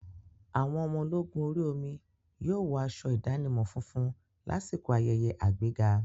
Àwọn ọmọ ológun orí omi yóò wọ aṣọ ìdánimọ̀ funfun lásìkò ayẹyẹ àgbéga.